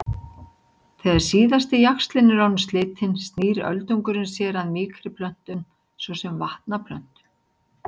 Þegar síðasti jaxlinn er orðinn slitinn snýr öldungurinn sér að mýkri plöntum svo sem vatnaplöntum.